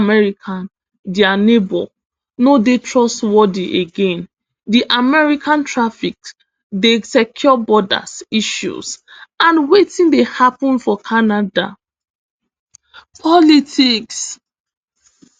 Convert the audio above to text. america dia neighbour no dey trustworthy again di american tariffs di secure borders issues and wetin dey happun for canada politics